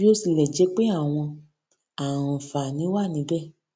bí ó tilè jé pé àwọn àǹfààní wà níbè